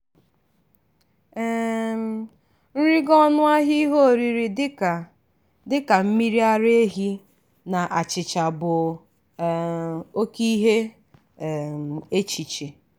um nrigo ọnụ ahịa ihe oriri dịka dịka mmiri ara ehi na achịcha bụ um oke ihe um echiche.